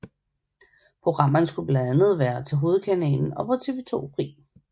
Programmerne skulle blandt være til hovedkanalen og til TV 2 Fri